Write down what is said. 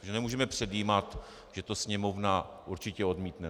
My nemůžeme předjímat, že to Sněmovna určitě odmítne.